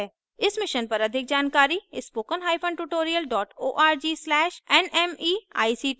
इस mission पर अधिक जानकारी spokentutorial org/nmeictintro पर उपलब्ध है